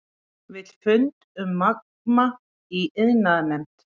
Vill fund um Magma í iðnaðarnefnd